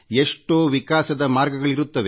ಎಷ್ಟೋ ವಿಕಾಸದ ಮಾರ್ಗಗಳಿರುತ್ತವೆ